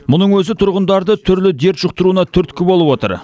мұның өзі тұрғындарды түрлі дерт жұқтыруына түрткі болып отыр